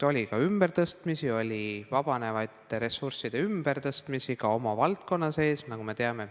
Oli ka ümbertõstmist, oli vabanevate ressursside ümbertõstmist, ka oma valdkonna sees, nagu me teame.